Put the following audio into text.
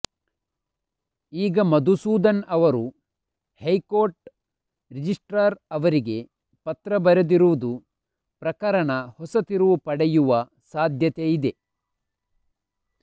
ಈಗ ಮಧುಸೂದನ್ ಅವರು high court registrar ಅವರಿಗೆ ಪತ್ರ ಬರೆದಿರುವುದು ಪ್ರಕರಣ ಹೊಸ ತಿರುವು ಪಡೆಯುವ ಸಾಧ್ಯತೆ ಇದೆ